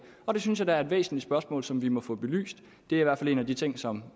synes jeg da er et væsentligt spørgsmål som vi må få belyst det er i hvert fald en af de ting som